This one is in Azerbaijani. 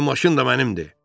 Sehrli maşın da mənimdir!